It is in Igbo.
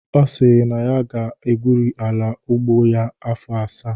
Ọ sịrị na ya ga-egwuri ala ugbo ya afọ asaa